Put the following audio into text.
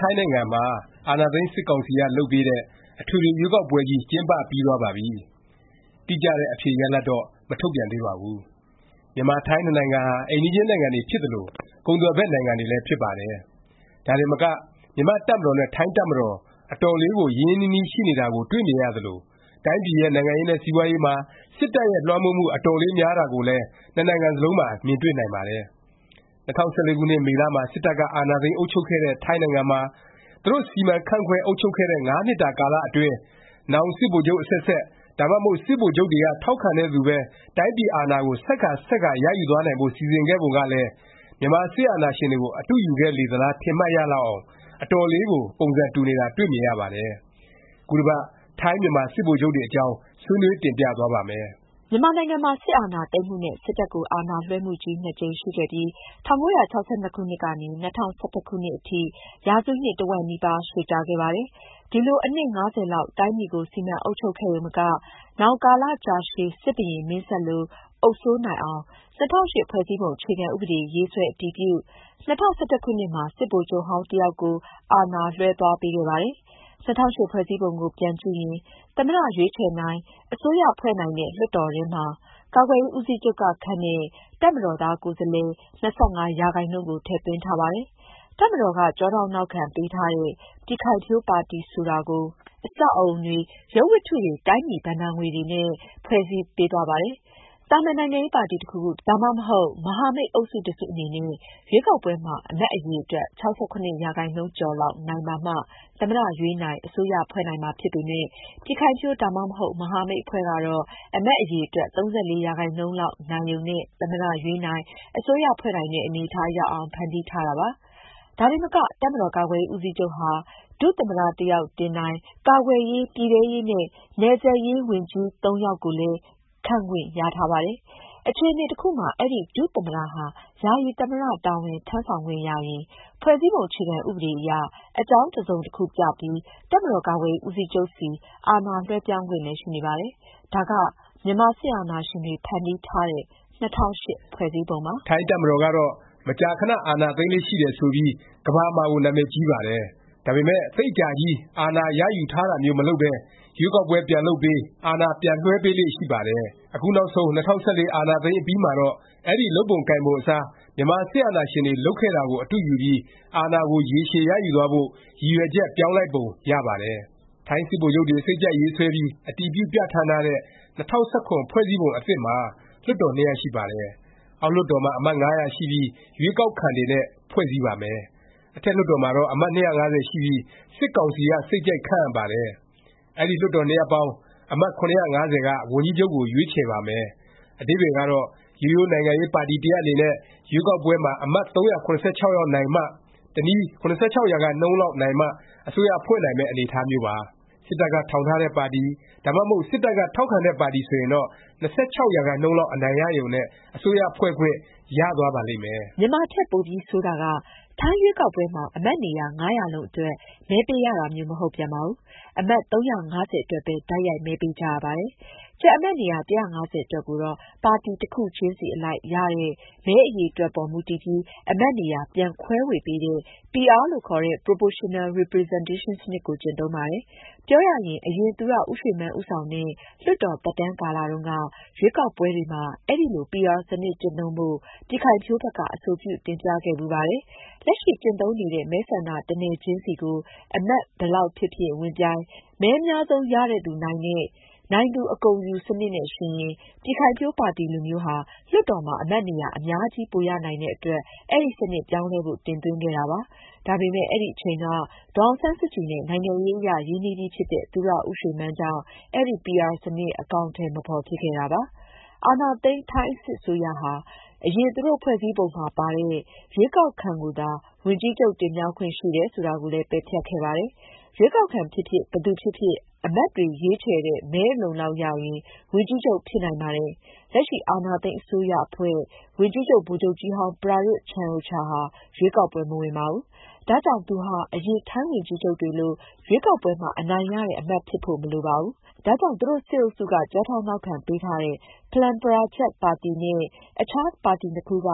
ထိုင်းနိုင်ငံမှာ အာဏာသိမ်း စစ်ကောင်စီက လုပ်ပေးတဲ့ အထွေထွေ ရွေးကောက်ပွဲကြီး ကျင်းပ ပြီးသွားပါပြီ။ တိကျတဲ့ အဖြေရလာဒ်တော့ မထုတ်ပြန်သေးပါဘူး။ မြန်မာ- ထိုင်း နှစ်နိုင်ငံဟာ အိမ်နီးချင်းနိုင်ငံတွေ ဖြစ်သလို၊ ကုန်သွယ်ဖက် နိုင်ငံတွေလည်း ဖြစ်ပါတယ်။ ဒါတင်မက မြန်မာ့တပ်မတော်နဲ့ ထိုင်းတပ်မတော် အတော်လေးကို ရင်းရင်းနှီးနှီး ရှိနေတာကိုလည်း တွေ့မြင်ရပါတယ်။ ဒါတင်မက တိုင်းပြည်ရဲ့ နိုင်ငံရေးနဲ့ စီးပွားရေးမှာ စစ်တပ်ရဲ့ လွှမ်းမိုးမှု အတော်လေး များတာကိုလည်း နှစ်နိုင်ငံစလုံးမှာ မြင်တွေ့နိုင်ပါတယ်။ ၂၀၁၄ ခုနှစ် မေလ မှာ စစ်တပ်က အာဏာသိမ်းအုပ်ချုပ်ခဲ့တဲ့ ထိုင်းနိုင်ငံမှာ သူတို့ စီမံခန့်ခွဲ အုပ်ချုပ်ခဲ့တဲ့ ၅ နှစ်တာကာလ အတွင်း နောင် စစ်ဗိုလ်ချုပ် အဆက်ဆက်၊ ဒါမှမဟုတ် စစ်ဗိုလ်ချုပ်တွေက ထောက်ခံတဲ့သူပဲ တိုင်းပြည်အာဏာကို ဆက်ကာ ဆက်ကာ ရယူသွားနိုင်ဖို့ စီစဉ်ခဲ့ပုံကလည်း မြန်မာစစ်အာဏာရှင်တွေကို အတုယူခဲ့လေသလား ထင်မှတ်ရအောင် အတော်လေးကို ပုံစံ တူနေတာ တွေ့မြင်ရပါတယ်။ ခုတစ်ပတ် ထိုင်း-မြန်မာ စစ်ဗိုလ်ချုပ်တွေအကြောင်း ဆွေးနွေး တင်ပြသွားပါ့မယ်။ မြန်မာနိုင်ငံမှာ စစ်အာဏာသိမ်းမှုနဲ့ စစ်တပ်ကို အာဏာလွဲှမှုကြီး ၂ ကြိမ်ရှိခဲ့ပြီး ၁၉၆၂ ကနေ ၂၀၁၁ ခုနှစ်အထိ ရာစုနှစ် တစ်ဝက်နီးပါး ရှည်ကြာခဲ့ပါတယ်။ ဒီလို အနှစ် ၅၀ လောက် တိုင်းပြည်ကို စီမံအုပ်ချုပ်ခဲ့ရုံမက နောင် ကာလကြာရှည် စစ်ဘုရင်မင်းဆက်လို အုပ်စိုးနိုင်အောင် ၂၀၀၈ ဖွဲ့စည်းပုံ အခြေခံဥပဒေ ရေးဆွဲ အတည်ပြု၊ ၂၀၁၁ ခုနှစ်မှာ စစ်ဗိုလ်ချုပ်ဟောင်း တစ်ယောက်ကို အာဏာ လွဲှသွားပေးခဲ့ပါတယ်။ ၂၀၀၈ ဖွဲ့စည်းပုံကို ပြန်ကြည့်ရင် သမ္မတ ရွေးချယ်နိုင်၊ အစိုးရဖွဲ့နိုင်တဲ့ လွှတ်တော်ထဲမှာ ကာကွယ်ရေး ဦးစီးချုပ်က ခန့်တဲ့ တပ်မတော်သား ကိုယ်စားလှယ် ၂၅ ရာခိုင်နှုန်းကို ထည့်သွင်းထားပါတယ်။ တပ်မတော်က ကျောထောက်နောက်ခံ ပေးထားတဲ့ ပြည်ခိုင်ဖြိုး ပါတီ ဆိုတာကို အဆောက်အဦတွေ၊ ရုပ်ဝတ္တုတွေ တိုင်းပြည် ဘဏ္ဍာတွေနဲ့ ဖွဲ့စည်းပေးသွားပါတယ်။ သာမန် နိုင်ငံရေးပါတီ တစ်ခုခု၊ ဒါမှမဟုတ် မဟာမိတ် အုပ်စုတစ်စု အနေနဲ့ ရွေးကောက်ပွဲမှာ အမတ် အရည်အတွက် ၆၇ ရာခိုင်နှုန်းကျော်လောက် နိုင်ပါမှ သမ္မတ ရွေးနိုင်၊ အစိုးရဖွဲ့နိုင်မှာ ဖြစ်ပေမယ့် ပြည်ခိုင်ဖြိုး၊ ဒါမှမဟုတ် မဟာမိတ် အဖွဲ့ကတော့ အမတ် အရည်အတွက် ၃၄ရာခိုင်နှုန်းလောက် နိုင်ရုံနဲ့ သမ္မတ ရွေးနိုင်၊ အစိုးရဖွဲ့နိုင်တဲ့ အနေအထား ရောက်အောင် ဖန်တီးထားတာပါ။ ဒါတင်မက တပ်မတာ်ကာကွယ်ရေး ဦးစီးချုပ်ဟာ ဒုသမ္မတ တစ်ယောက် တင်နိုင်၊ ကာကွယ်ရေး၊ ပြည်ထဲရေး နဲ့ နယ်စပ်ရေး ဝန်ကြီး ၃ ယောက်ကိုလည်း ခန့်ခွင့်ရထားပါတယ်။ အခြအနေ တစ်ခုမှာ အဲဒီ ဒုသမ္မတဟာ ယာယီသမ္မတ တာဝန်ထမ်းဆောင်ခွင့်ရရင် ဖွဲ့စည်းပုံ အခြေခံ ဥပဒေအရ အကြောင်းတစ်စုံတစ်ခု ပြပြီး တပ်မတော်ကာကွယ်ရေး ဦးစီးချုပ်ဆီ အာဏာလွဲှပြောင်းခွင့်လည်း ရှိနေပါတယ်။ ဒါက မြန်မာစစ်အာဏာရှင်တွေ ဖန်တီးထားတဲ့ ၂၀၀၈ ဖွဲ့စည်းပုံပါ။ ထိုင်းတပ်မတော်ကတော့ မကြာခဏ အာဏာသိမ်းလေ့ ရှိတယ် ဆိုပြီး ကမ္ဘာမှာကို နာမည်ကြီးပါတယ်။ ဒါပေမယ့် သိပ်အကြာကြီး အာဏာရယူထားတာမျိုး မလုပ်ပဲ ရွေးကောက်ပွဲ ပြန်လုပ်ပေး၊ အာဏာ ပြန်လွဲှပေးလေ့ ရှိပါတယ်။ အခုနောက်ဆုံး ၂၀၁၄ အာဏာသိမ်းအပြီးမှာတော့ အဲဒီ လုပ်ပုံကိုင်ပုံ အစား မြန်မာစစ်အာဏာရှင်တွေ လုပ်ခဲ့တာကို အတုယူပြီး အာဏာကို ရေရှည်ရယူသွားဖို့ ရည်ရွယ်ချက် ပြောင်းလိုက်ပုံ ရပါတယ်။ ထိုင်း စစ်ဗိုလ်ချုပ်တွေ စိတ်ကြိုက်ရေးဆွဲပြီး အတည်ပြုပြဌာန်းထားတဲ့ ၂၀၁၇ ဖွဲ့စည်းပုံ အသစ်မှာ လွှတ်တော် ၂ ရပ်ရှိပါတယ်။ အောက်လွှတ်တော်မှာ အမတ် ၅၀၀ ရှိပြီး ရွေးကောက်ခံတွေနဲ့ ဖွဲ့စည်းပါမယ်။ အထက်လွှတ်တော်မှာတော့ အမတ် ၂၅၀ ရှိပြီး စစ်ကောင်စီက စိတ်ကြိုက်ခန့်အပ်ပါတယ်။ အဲဒီ လွှတ်တော် နှစ်ရပ်ပေါင်း အမတ် ၇၅၀ က ဝန်ကြီးချုပ်ကို ရွေးချယ်ပါမယ်။ အဓိပ္ပါယ်ကတော့ ရိုးရိုး နိုင်ငံရေးပါတီ တစ်ရပ်အနေနဲ့ ရွေးကောက်ပွဲမှာ အမတ် ၃၇၆ ယောက် နိုင်မှ၊ တစ်နည်း ၇၆ ရာခိုင်နှုန်းလောက် နိုင်မှ အစိုးရဖွဲ့နိုင်မယ့် အနေအထားမျိုးပါ။ စစ်တပ်က ထောင်ထားတဲ့ပါတီ၊ ဒါမှမဟုတ် စစ်တပ်က ထောက်ခံတဲ့ ပါတီ ဆိုရင်တော့ ၂၆ ရာခိုင်နှုန်းလောက် အနိုင်ရရုံနဲ့ အစိုးရဖွဲ့ခွင့် ရသွားနိုင်မယ့် အနေအထားပါ။ မြန်မာထက် ပိုပြီး ဆိုးတာက ထိုင်းရွေးကောက်ပွဲမှာ အမတ်နေရာ ၅၀၀ လုံးအတွက် မဲပေးရတာမျိုး မဟုတ်ပြန်ပါဘူး။ အမတ် ၃၅၀ အတွက်ပဲ တိုက်ရိုက် မဲပေးကြရပါတယ်။ ကျန် အမတ်နေရာ ၁၅၀ အတွက်ကိုတော့ ပါတီ တစ်ခုချင်းစီအလိုက် ရတဲ့ မဲအရေအတွက်အပေါ် မူတည်ပြီး အမတ်နေရာ ပြန် ခွဲဝေပေးတဲ့ PR လို့ ခေါ်တဲ့ Proportional Representation စနစ်ကို ကျင့်သုံးပါတယ်။ ပြောရရင် အရင် သူရဦးရွှေမန်း ဦးဆောင်တဲ့ လွှတ်တော် သက်တမ်းကာလ တုန်းက ရွေးကောက်ပွဲတွေမှာ အဲလို PR စနစ် ကျင့်သုံးဖို့ ပြည်ခိုင်ဖြိုးဘက်က အဆိုပြု တင်ပြခဲ့ဖူးပါတယ်။ လက်ရှိ ကျင့်သုံးနေတဲ့ မဲဆန္ဒ တစ်နယ်စီကို အမတ်ဘယ်လောက် ဖြစ်ဖြစ် ဝင်ပြိုင်၊ မဲအများဆုံးရတဲ့သူ နိုင်တဲ့၊ “နိုင်သူ အကုန်ယူ” စနစ်နဲ့ ယှဉ်ရင် ပြည်ခိုင်ဖြိုးပါတီလိုမျိုးဟာ လွှတ်တော်မှာ အမတ်နေရာ အများကြီး ပိုရနိုင်တဲ့အတွက် အဲဒီစနစ် ပြောင်းလဲဖို့ တင်သွင်းခဲ့တာ ဖြစ်ပါတယ်။ ဒါပေမယ့် အဲဒီအချိန်က ဒေါ်အောင်ဆန်းစုကြည်နဲ့ နိုင်ငံရေးအရ ရင်းနှီးပြီးဖြစ်တဲ့ သူရဦးရွှေမန်းကြောင့် အဲဒီ PR စနစ် အကောင်အထည် မဖော်ဖြစ်ခဲ့တာပါ။ အာဏာသိမ်း ထိုင်းစစ်အစိုးရဟာ အရင် သူတို့ဖွဲ့စည်းပုံမှာပါတဲ့ ရွေးကောက်ခံကိုသာ ဝန်ကြီးချုပ် တင်မြှောက်ခွင့်ရှိတယ် ဆိုတာကိုလည်း ပယ်ဖျက်ခဲ့ပါတယ်။ ရွေးကောက်ခံ ဖြစ်ဖြစ် ဘယ်သူ ဖြစ်ဖြစ် အမတ်တွေ ရွေးချယ်တဲ့ မဲအလုံအလောက်ရရင် ဝန်ကြီးချုပ် ဖြစ်နိုင်ပါတယ်။ လက်ရှိ အာဏာသိမ်း အစိုးရအဖွဲ့ ဝန်ကြီးချုပ် ဗိုလ်ချုပ်ကြီးဟောင်း ပရာယွတ်ချန်အိုချာ ဟာ ရွေးကောက်ပွဲ မဝင်ပါဘူး။ ဒါကြောင့် သူဟာ အရင် ထိုင်းဝန်ကြီးချုပ်တွေလို ရွေးကောက်ပွဲမှာ အနိုင်ရတဲ့ အမတ် ဖြစ်ဖို့ မလိုပါဘူး။ ဒါကြောင့် သူတို့ စစ်အုပ်စုက ကျောထောက်နောက်ခံ ပေးထားတဲ့ ဖလန်းပချားရတ် ပါတီ နဲ့ အခြား ပါတီနှစ်ခုက